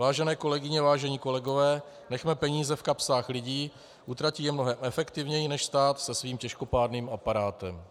Vážené kolegyně, vážení kolegové, nechme peníze v kapsách lidí, utratí je mnohem efektivněji než stát se svým těžkopádným aparátem.